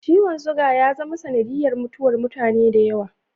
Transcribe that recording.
Ciwon suga ya zama sanadiyar mutuwar mutane da yawa.